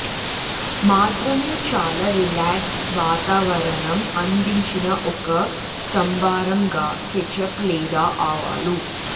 మాత్రమే చాలా రిలాక్స్డ్ వాతావరణం అందించిన ఒక సంభారం గా కెచప్ లేదా ఆవాలు